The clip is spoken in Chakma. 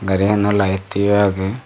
gari gano light yo age.